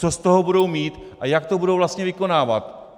Co z toho budou mít a jak to budou vlastně vykonávat?